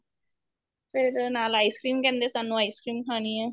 ਫੇਰ ਨਾਲ ice cream ਕਹਿੰਦੇ ਸਾਨੂੰ ice cream ਖਾਣੀ ਏ